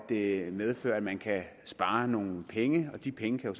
det medfører at man kan spare nogle penge de penge kan